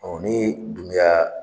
ni Dumuya